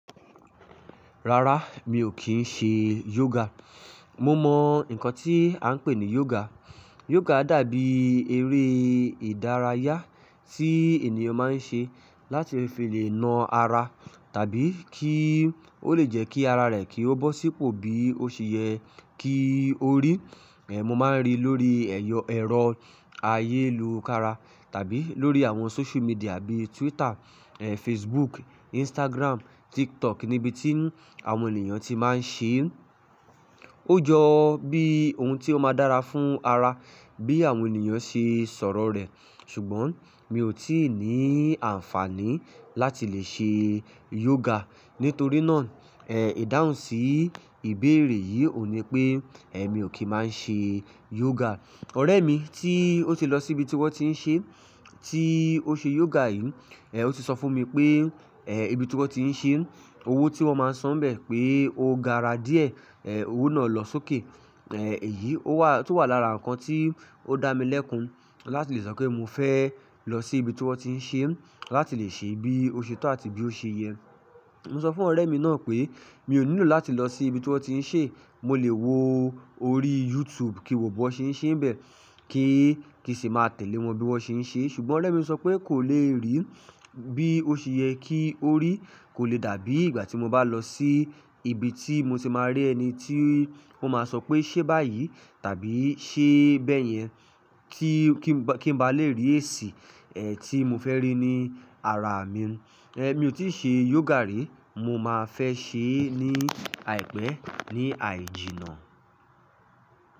Rárá, mi ò kí ń ṣe yoga. Mo mọ nǹkan tí à ń pè ní yoga. Yoga dàbí eré ìdárayá tí ènìyàn máa ń ṣe láti fi lè na ara tàbí kí ó le jẹ́ kí ara rẹ̀ kí ó bọ́ sípò bí ó ṣe yẹ kí ó rí. Mo máa ń rí lórí ẹ̀rọ ayélùkára tàbí lórí àwọn social media bíi Twitter, Facebook, Instagram, TikTok níbi tí àwọn ènìyàn ti máa ń ṣe. Ó jọ bí ohun tí ó máa dára fún ara bí àwọn ènìyàn ṣe sọ̀rọ̀ rẹ̀. Ṣùgbọ́n mi ò tí ì ní àǹfààní láti lè ṣe yoga. Nítorí náà ìdáhùn sí ìbéèrè yìí ò ní pé mi ò kí máa ń ṣe yoga. Ọ̀rẹ́ mi tí ó ti lọ síbi tí wọ́n ti ń ṣe, tí ó ṣe yoga yìí, ó ti sọ fún mi pé ibi tí wọ́n ti ń ṣe, owó tí wọ́n máa ń san bẹ́ẹ̀ pé ó gara díẹ̀, owó náà lọ sókè. Èyí tó wà lára nǹkan tí ó dá mi lẹ́kun láti lè sọ pé mo fẹ́ lọ sí ibi tí wọ́n ti ń ṣe láti lè ṣe bí ó ṣe tọ́ àti bí ó ṣe yẹ. Mo sọ fún ọ̀rẹ́ mi náà pé mi ò nílò láti lọ sí ibi tí wọ́n ti ń ṣe, mo lè wo orí YouTube kí wò bó ṣe ń ṣe bẹ́ẹ̀ kí n sì máa tẹ̀lé wọn bí wọ́n ṣe ń ṣe. Ṣùgbọ́n ọ̀rẹ́ mi sọ pé kò lè rí bí ó ṣe yẹ kí ó rí, kò lè dàbí ìgbà tí mo bá lọ sí ibi tí mo ti máa rí ẹni tí ó máa sọ pé "ṣe báyìí tàbí ṣe bẹ́ẹ̀ yẹn" kí n ba lè rí èsì tí mo fẹ́ rí ní ara mi. Mi ò tí ṣe yoga rí, mo máa fẹ́ ṣe é ní àìpẹ́ ní àìjí̀nà.